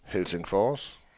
Helsingfors